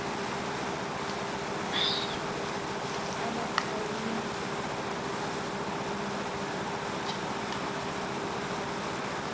abaqhawule banokutshata kwakhona